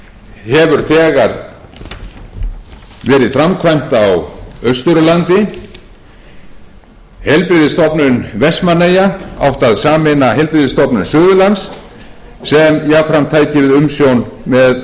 hefur þegar verið framkvæmd á austurlandi heilbrigðisstofnun vestmannaeyja átti að sameina heilbrigðisstofnun suðurlands sem jafnframt tæki við umsjón með